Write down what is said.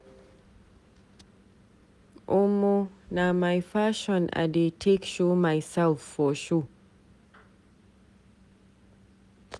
Omo, na my fashion I dey take show myself for show.